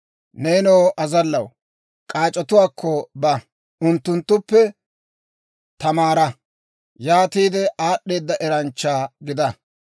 Neenoo azallaw, k'aac'otuwaakko ba; unttunttuppe tamaara. Yaatiide aad'd'eeda eranchcha gida.